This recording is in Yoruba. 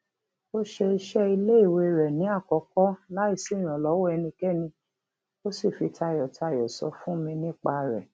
ó ṣe iṣé iléiwé rè ni àkókó láìsí ìrànlówó ẹnikéni ó sì fi tayòtayò sọ fún mi nípa rè